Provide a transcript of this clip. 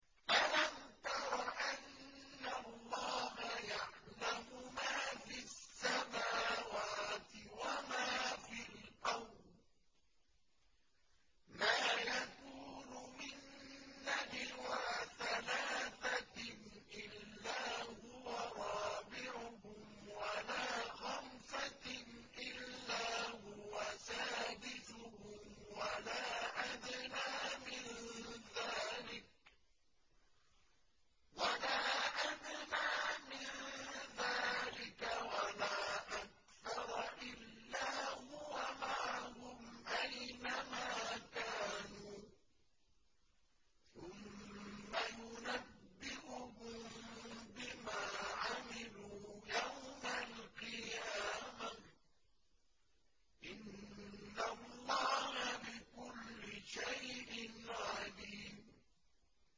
أَلَمْ تَرَ أَنَّ اللَّهَ يَعْلَمُ مَا فِي السَّمَاوَاتِ وَمَا فِي الْأَرْضِ ۖ مَا يَكُونُ مِن نَّجْوَىٰ ثَلَاثَةٍ إِلَّا هُوَ رَابِعُهُمْ وَلَا خَمْسَةٍ إِلَّا هُوَ سَادِسُهُمْ وَلَا أَدْنَىٰ مِن ذَٰلِكَ وَلَا أَكْثَرَ إِلَّا هُوَ مَعَهُمْ أَيْنَ مَا كَانُوا ۖ ثُمَّ يُنَبِّئُهُم بِمَا عَمِلُوا يَوْمَ الْقِيَامَةِ ۚ إِنَّ اللَّهَ بِكُلِّ شَيْءٍ عَلِيمٌ